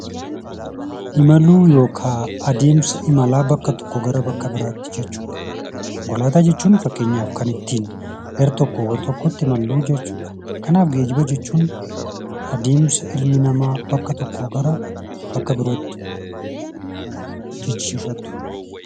Adeemsi imalaa bakka tokkoo gara bakka biraatti taasifamu geejjibaadha. Konkolaataa jechuun immoo fakkeenyaaf kan ittiin gara tokkoo gara bakka biraatti imalluudha jechuudha. Kanaaf geejjiba jechuun adeemsa ilmi namaa bakka tokkoo gara bakka birootti taasisuudha.